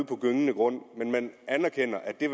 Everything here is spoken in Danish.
på gyngende grund men man anerkender at det